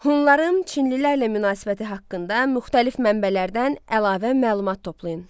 Hunların çinlilərlə münasibəti haqqında müxtəlif mənbələrdən əlavə məlumat toplayın.